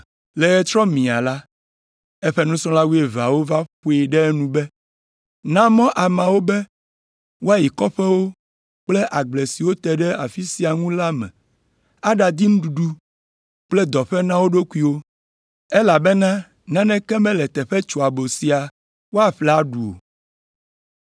Le ɣetrɔ miaa la, eƒe nusrɔ̃la wuieveawo va ƒoe ɖe enu be, “Na mɔ ameawo be woayi kɔƒewo kple agble siwo te ɖe afi sia ŋu la me aɖadi nuɖuɖu kple dɔƒe na wo ɖokuiwo, elabena naneke mele teƒe tsoabo sia woaƒle aɖu o.”